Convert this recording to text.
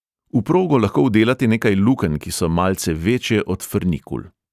V progo lahko vdelate nekaj lukenj, ki so malce večje od frnikul.